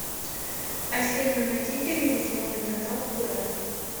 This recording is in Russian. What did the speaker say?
афина найди телевизионный канал курай